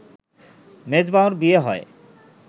মেজবাহর বিয়ে হয়